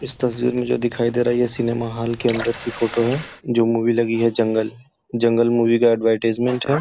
इस तस्वीर में जो दिखाई दे रहा है ये सिनेमा हॉल के अंदर की फोटो है। जो मूवी लगी है जंगल जंगल मूवी का अड़वरटाईज़मेंट है।